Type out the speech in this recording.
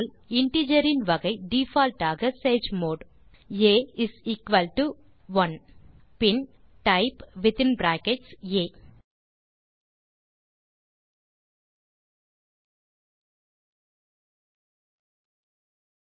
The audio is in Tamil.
இன்டிஜர் இன் வகை டிஃபால்ட் ஆக sage mode a is equal to 1 பின் வித்தின் பிராக்கெட்ஸ் டைப் செய்க ஆ